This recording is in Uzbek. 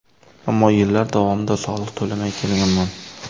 Ammo yillar davomida soliq to‘lamay kelganman.